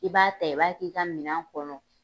I b'a ta, i b'a k'i kɛ ka mina kɔnɔ